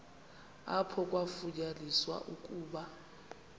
apho kwafunyaniswa ukuba